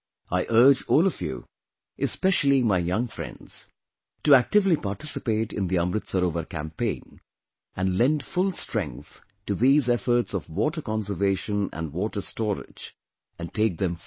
I urge all of you, especially my young friends, to actively participate in the Amrit Sarovar campaign and lend full strength to these efforts of water conservation & water storage and take them forward